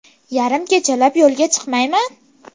Yarim kechalab yo‘lga chiqmayman.